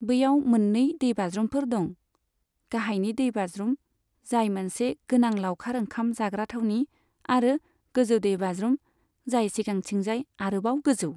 बैयाव मोन्नै दैबाज्रुमफोर दं, गाहायनि दैबाज्रुम, जाय मोनसे गोनां लाउखार ओंखाम जाग्रा थावनि, आरो गोजौ दैबाज्रुम, जाय सिगांथिंजाय आरोबाव गोजौ।